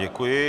Děkuji.